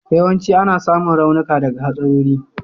Yawanci ana samun raunuka daga hatsarori.